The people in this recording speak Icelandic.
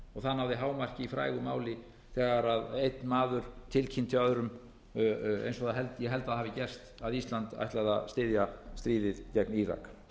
flokksformannanna það náði hámarki í frægu máli þegar einn maður tilkynnti öðrum eins og ég held að það hafi gerst að ísland ætlaði að styðja stríðið gegn írak